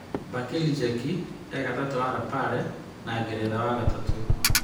Bajir Njeki e-gatagatĩ wa Lapare na Ngeretha, wa gatatũ: